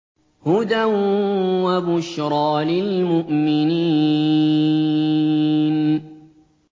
هُدًى وَبُشْرَىٰ لِلْمُؤْمِنِينَ